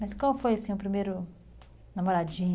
Mas qual foi, assim, o primeiro namoradinho?